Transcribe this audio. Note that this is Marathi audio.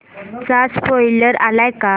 चा स्पोईलर आलाय का